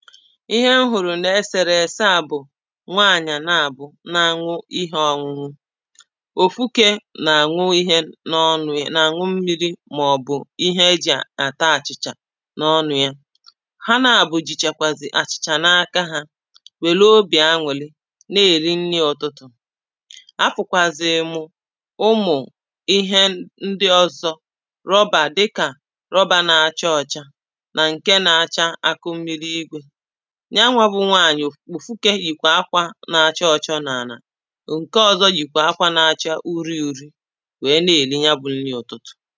ihe a hụ̀rụ̀ n’ẹsẹ̀rẹ̀sẹ à bụ̀ nwaànyà na àbuọ na-aṅụ ihė ọṅụṅụ òfúkė nààṅu ihe na aṅụ ḿmírí màobu íɦé eji àtá achicha na ọnụ ya, ha na abuọ jìchàkwàzị̀ àchị̀chà n’aka hȧ, wèrè obì aṅụ̀lị na-èli nri ụtụtụ afụ̀kwàzị̀rị̀ mụ̀ ụmụ̀ ihe ndị ọzọ̇ rọbà dịkà rọbà nà àcha ọcha nà ǹke nà-acha akụ mmiri igwė ya nwa bụ nwanyị̀ òfukė yìkwà akwȧ nȧ-acha ọcha n’ala nke ọzọ̇ yìkwà akwȧ na-acha uri uri̇ wèe na-ènye ya bụ̇ nri ụtụtụ̀